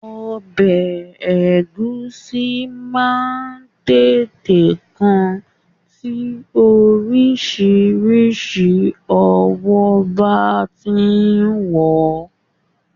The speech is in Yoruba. Ọbẹ̀ Ẹ̀gúsí máa ń tètè kan tí oríṣiríṣi ọwọ́ bá ti rò ó